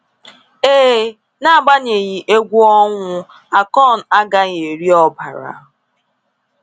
Ee, n’agbanyeghị egwu ọnwụ, Akon agaghị eri ọbara.